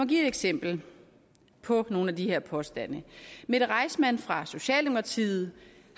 give et eksempel på nogle af de her påstande mette reissmann fra socialdemokratiet